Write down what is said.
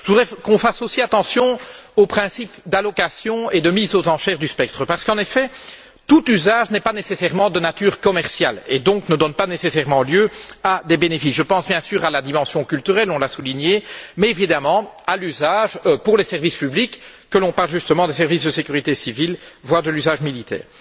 Je voudrais qu'on fasse aussi attention aux principes d'allocation et de mise aux enchères du spectre parce qu'en effet, tout usage n'est pas nécessairement de nature commerciale et ne produit donc pas nécessairement des bénéfices. Je pense bien sûr à la dimension culturelle, on l'a souligné, mais aussi à l'usage pour les services publics parlons justement des services de sécurité civile voire à l'usage militaire.